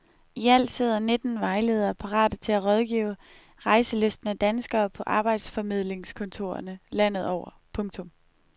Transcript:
Ialt sidder nitten vejledere parate til at rådgive rejselystne danskere på arbejdsformidlingskontorerne landet over. punktum